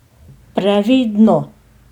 Previdno!